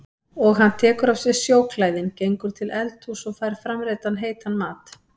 Og hann tekur af sér snjóklæðin, gengur til eldhúss og fær framreiddan heitan mat.